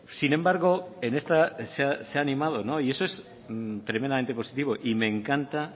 sin embargo en esta se ha animado y eso es tremendamente positivo y me encanta